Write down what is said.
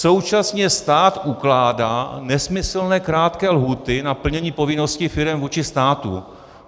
Současně stát ukládá nesmyslně krátké lhůty na plnění povinností firem vůči státu.